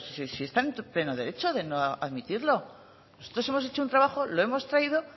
pues si está en su pleno derecho de no admitirlo nosotros hemos hecho un trabajo lo hemos traído